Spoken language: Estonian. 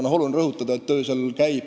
Aga tuleb rõhutada, et töö käib.